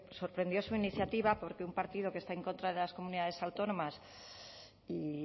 sorprendió su iniciativa porque un partido que está en contra de las comunidades autónomas y